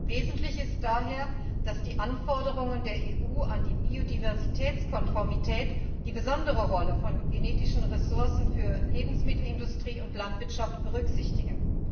Wesentlich ist daher, dass die Anforderungen der EU an die Biodiversitätskonformität die besondere Rolle von genetischen Ressourcen für Lebensmittelindustrie und Landwirtschaft berücksichtigen.